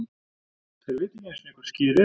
Þeir vita ekki einusinni hvað Skyr ER?!